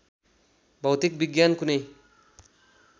भौतिक विज्ञान कुनै